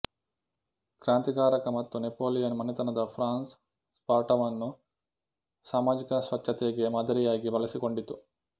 ಕ್ರಾಂತಿಕಾರಕ ಮತ್ತು ನೆಪೋಲಿಯನ್ ಮನೆತನದ ಫ್ರಾನ್ಸ್ ಸ್ಪಾರ್ಟಾವನ್ನು ಸಾಮಾಜಿಕ ಸ್ವಚ್ಛತೆಗೆ ಮಾದರಿಯಾಗಿ ಬಳಸಿಕೊಂಡಿತು